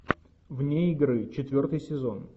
вне игры четвертый сезон